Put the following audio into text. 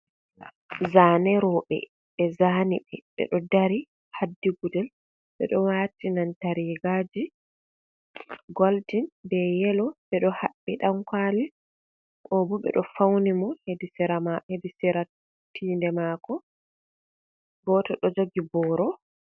Zaane rooɓe. Ɓe zaani ɓe ɓe ɗo dari haddi gudel, ɓe ɗo waati nanta rigaji goldin be yelo ɓe ɗo haɓɓi ɗankwali. Obo ɓe ɗo fauni mo hedi sera ma ebi sera tinde maako goto ɗo jogi boro.